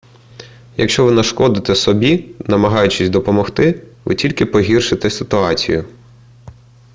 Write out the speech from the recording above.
якщо ви нашкодите собі намагаючись допомогти ви тільки погіршите ситуацію